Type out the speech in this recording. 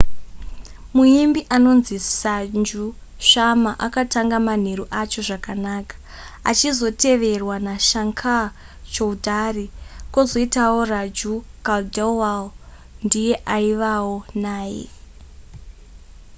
muimbi anonzi sanju sharma akatanga manheru acho zvakanaka achizoteverwa nashankar choudhary kwozotiwo raju khandelwal ndiye aivawo naye